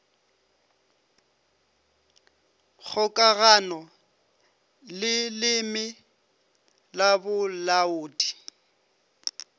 kgokagano le leleme la bolaodi